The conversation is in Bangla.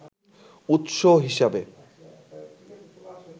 উৎস হিসাবে